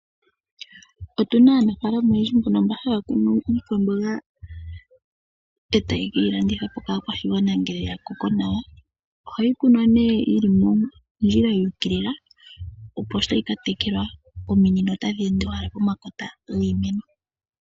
Otu na aanafalama oyendji mbono mba haya kunu iikwamboga e taye ke yi landitha po kaakwashigwana ngele ya koko nawa. Ohayi kunwa nee yi li mondjila yu ukilila, opo shi tayi ka tekelwa ominino otadhi ende owala pomakota giimeno.